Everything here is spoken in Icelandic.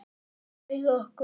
Hún bauð okkur.